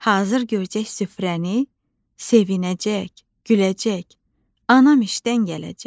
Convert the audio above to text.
Hazır görəcək süfrəni, sevinəcək, güləcək anam işdən gələcək.